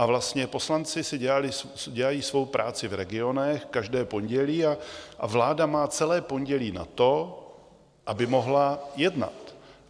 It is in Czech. A vlastně poslanci si dělají svou práci v regionech každé pondělí a vláda má celé pondělí na to, aby mohla jednat.